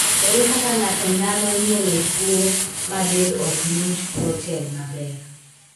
Ere kaka ng'ato nyalo nyuolo tuo ma del ok ng'inj proten maber ?